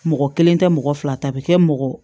Mɔgɔ kelen tɛ mɔgɔ fila ta bɛ kɛ mɔgɔ